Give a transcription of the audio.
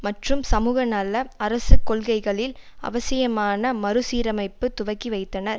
மற்றும் சமூக நல அரசு கொள்கைகளில் அவசியமான மறுசீரமைப்பை துவக்கி வைத்தனர்